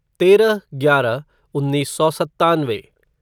तेरह ग्यारह उन्नीस सौ सत्तानवे